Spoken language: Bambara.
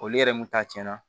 Olu yɛrɛ mun ta cɛn na